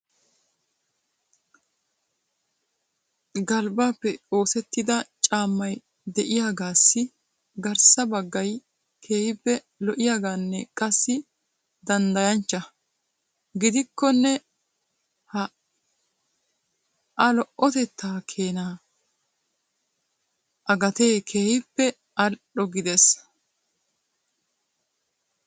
Galbbappe oosetida caammay de'iyaagassi garssa baggay keehippe lo"iyaaganne qassi danddayanchcha. Gidikkonne ha a lo"otetta keena a gatee keehippe al"o gidees.